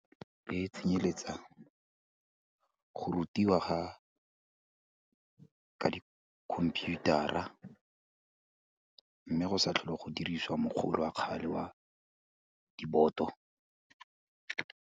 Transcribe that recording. Ke tshenyeletsa go rutiwa ga, di computer-ra, mme go sa tlhole go diriswa wa kgale wa diboto.